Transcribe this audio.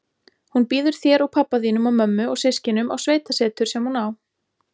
Hún býður þér og pabba þínum og mömmu og systkinunum á sveitasetur sem hún á.